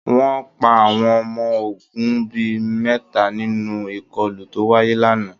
Wọ́n pa àwọn ọmọ ogun bí i mẹ́ta nínú ìkọlù tó wáyé lánàá